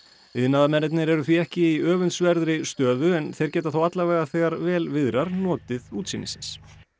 iðnaðarmennirnir eru því ekki í öfundsverðri stöðu en þeir geta þó alla vega þegar vel viðrar notið útsýnisins